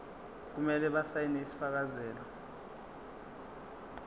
kumele basayine isifakazelo